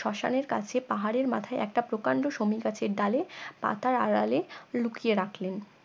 শসানের কাছে পাহাড়ের মাথায় একটা প্রকান্ড সমীগাছের ডালে পাতার আড়ালে লুকিয়ে রাখলেন